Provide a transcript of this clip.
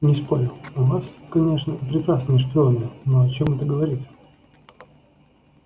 не спорю у вас конечно прекрасные шпионы но о чём это говорит